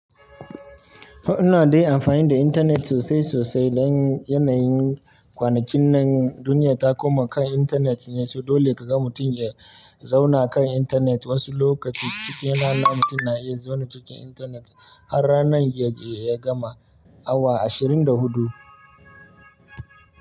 Ina dai amfani da intanet sosai sosai dan yanayin kwanakin nan duniya ta koma kan intanet ne, so dole ka ga mutum ya zauna kan intanet. Wasu lokaci cikin rana mutum na iya zaune cikin intanet har ranan ya gama, awa ashirin da hudu.